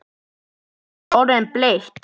Það er orðið bleikt!